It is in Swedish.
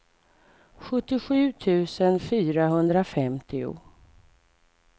sjuttiosju tusen fyrahundrafemtio